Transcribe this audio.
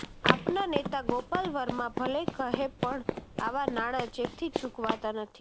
આપના નેતા ગોપાલ વર્મા ભલે કહે પણ આવાં નાણાં ચેકથી ચૂકવાતાં નથી